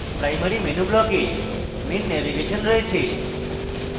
primary menu block we main navigation রয়েছে